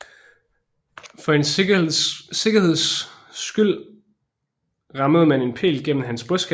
For en sikkerheds skyld rammede man en pæl gennem hans brystkasse